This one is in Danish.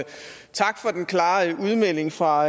tak for den klare udmelding fra